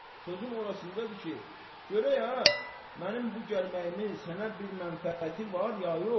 Sözüm orasındadır ki, görək ha, mənim bu gəlməyimin sənə bir mənfəəti var ya yox?